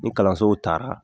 Ni kalansow taara